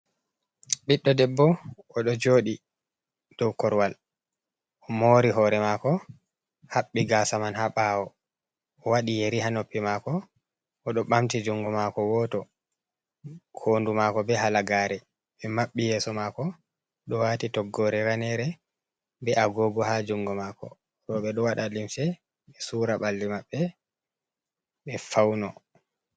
Ɓiɗdo debbo odo jodi dau korwal, o mori hore mako haɓɓi gasa man ha ɓawo. o wadi yeri ha noppi mako. O do bamti jungo mako woto, hondu mako be halagare; min mabbi yeso mako. O do wati toggore ranere, be agogu ha jungo mako. Roɓe do wada limse ɓe sura balli maɓɓe ɓe fauno.